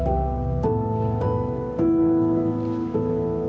og